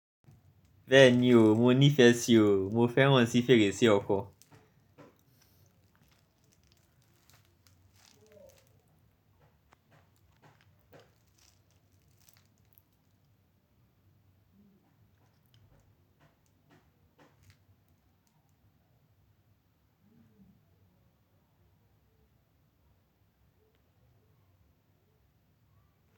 Bẹ́ẹ̀ni o, mo nífẹ̀ẹ́ sí o, mo fẹ́ràn sí fèrèsé ọkọ.